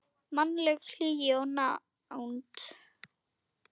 Mannleg hlýja og nánd.